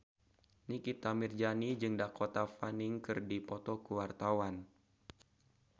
Nikita Mirzani jeung Dakota Fanning keur dipoto ku wartawan